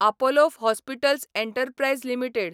Apollo hospitals enterprise limited